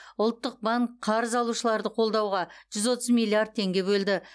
ұлттық банк қарыз алушыларды қолдауға жүз отыз миллиард теңге бөлді